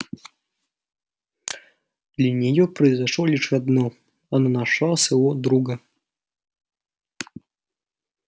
для неё произошло лишь одно она нашла своего друга